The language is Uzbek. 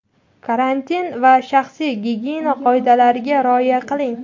karantin va shaxsiy gigiyena qoidalariga rioya qiling.